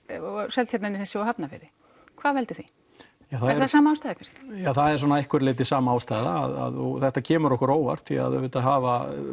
Seltjarnarnesi og Hafnarfirði hvað veldur því það er að einhverju leyti sama ástæða og þetta kemur okkur á óvart því auðvitað hafa